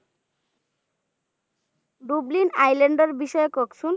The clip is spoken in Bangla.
Dublin island এর ব্যাপারে কহেন তো?